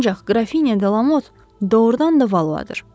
Ancaq Qrafinya De Lamot doğurdan da Valuadır.